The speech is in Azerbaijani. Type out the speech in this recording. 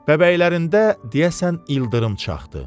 Bəbəklərində deyəsən ildırım çaxdı.